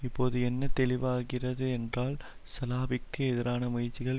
இப்போது என்ன தெளிவாகிறதென்றால் சலாபிக்கு எதிரான முயற்சிகள்